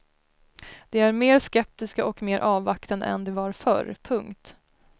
De är mer skeptiska och mer avvaktande än de var förr. punkt